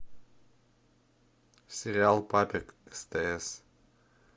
сериал папик стс